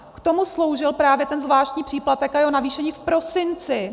K tomu sloužil právě ten zvláštní příplatek a jeho navýšení v prosinci.